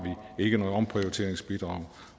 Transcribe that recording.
vi ikke noget omprioriteringsbidrag